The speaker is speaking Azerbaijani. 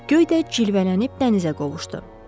Göy də cilvələnib dənizə qovuşdu.